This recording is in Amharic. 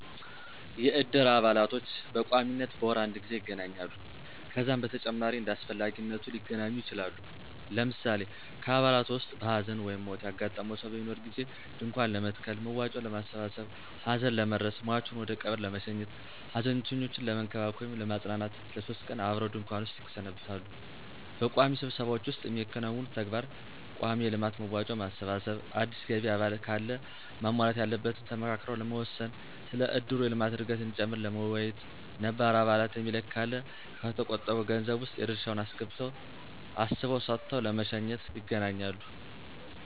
የእድር አባላቶች በቋሚነት በወር አድ ጊዜ ይገናኛሉ። ከዛም በተጨማሪ እንዳስፈላጊነቱ ሊገናኙ ይችላሉ። ለምሳሌ ከአባላቱ ዉስጥ ሀዘን/ሞት ያጋጠመው ሰው በሚኖር ጊዜ ድንኳን ለመትከል፣ መዋጮ ለማሠባሠብ፣ ሀዘን ለመድረስ፣ ሟቹን ወደቀብር ለመሸኘት፣ ሀዘንተኞችን ለመንከባከብ /ለማጽናናት ለሶስት ቀን አብረው ድንኩዋን ዉስጥ ይሰነብታሉ። በቋሚ ስብሰባዎች ዉስጥ የሚያከናውኑት ተግባር :ቋሚ የልማት መዋጮ ማሰባሰብ፣ አዲስ ገቢ አባል ካለ ማሟላት ያለበትን ተመካክረው ለመወሰን፣ ስለ እድሩ የልማት እድገት እዲጨምር ለመወያየት፣ ነባር አባል የሚለቅ ካለ ከተቆጠበዉ ገንዘብ ዉስጥ የድርሻዉን አስበው ሰጥተው ለመሸኘት ___ይገናኛሉ።